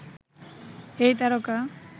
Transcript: এই তারকা